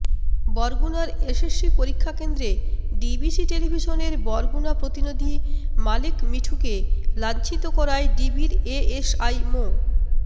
বরগুনার এসএসসি পরীক্ষাকেন্দ্রে ডিবিসি টেলিভিশনের বরগুনা প্রতিনিধি মালেক মিঠুকে লাঞ্ছিত করায় ডিবির এএসআই মো